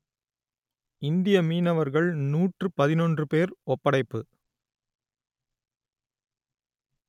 இந்திய மீனவர்கள் நூற்று பதினொன்று பேர் ஒப்படைப்பு